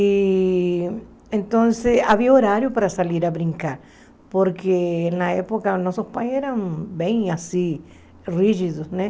E então havia horário para sair a brincar, porque na época nossos pais eram bem assim, rígidos, né?